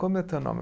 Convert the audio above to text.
Como é teu nome?